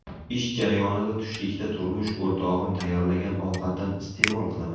Ish jarayonida tushlikda turmush o‘rtog‘im tayyorlagan ovqatdan iste’mol qilaman.